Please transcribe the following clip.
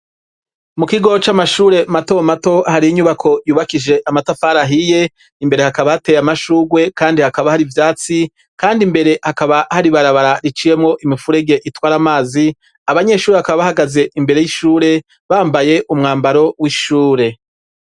Mu kigo c'amashure mato mato hari inyubako yubakije amatafari ahiye imbere hakaba hateye amashugwe kandi hakaba hari ivyatsi kandi imbere hakaba hari barabara riciyemo imifurege itwara amazi abanyeshuri hakaba bahagaze imbere y'ishure bambaye umwambaro w'ishure.